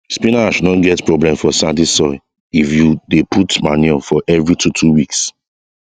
spinach no get problem for sandy soil if you dey put manure for every two two weeks